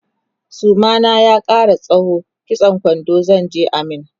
suma na ya Kara tsawo kitsan kwando zanje a min